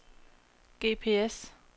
GPS